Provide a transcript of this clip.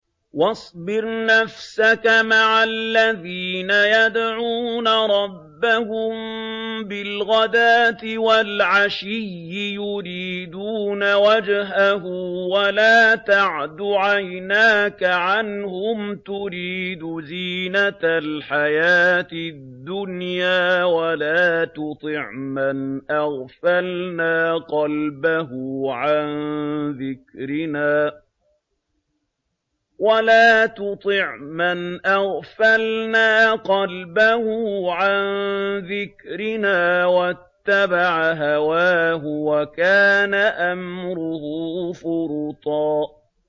وَاصْبِرْ نَفْسَكَ مَعَ الَّذِينَ يَدْعُونَ رَبَّهُم بِالْغَدَاةِ وَالْعَشِيِّ يُرِيدُونَ وَجْهَهُ ۖ وَلَا تَعْدُ عَيْنَاكَ عَنْهُمْ تُرِيدُ زِينَةَ الْحَيَاةِ الدُّنْيَا ۖ وَلَا تُطِعْ مَنْ أَغْفَلْنَا قَلْبَهُ عَن ذِكْرِنَا وَاتَّبَعَ هَوَاهُ وَكَانَ أَمْرُهُ فُرُطًا